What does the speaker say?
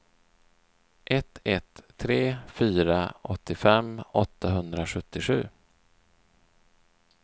ett ett tre fyra åttiofem åttahundrasjuttiosju